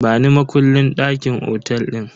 Bani makullin dakin otel din.